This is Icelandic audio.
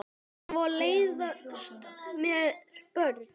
Og svo leiðast mér börn.